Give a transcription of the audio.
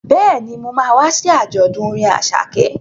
Bẹ́ẹ̀ni, mo ma wá sí àjọ̀dún orin Àṣàkẹ́